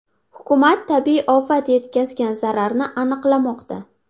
Hukumat tabiiy ofat yetkazgan zararni aniqlamoqda.